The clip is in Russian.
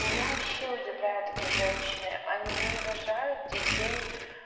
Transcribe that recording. меня вообще удивляет эти женщины они рожают детей